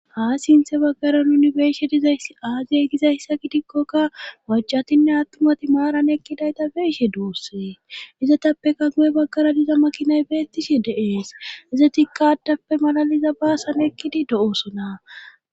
Haa sinthe baggara nuni beeshe dizays aaziye gizayssa gidikkokka wacatinne attumati maaran ekkidayta beeshe duussee izatappeka guye baggara diza makinay beettishe deees izotikka addappe malaliza baasan ekkidi do7oosona.